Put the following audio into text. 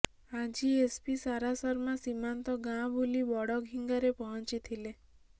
ଆଜି ଏସପି ଶାରା ଶର୍ମା ସୀମାନ୍ତ ଗାଁ ବୁଲି ବଡ଼ଖିଙ୍ଗାରେ ପହଞ୍ଚିଥିଲେ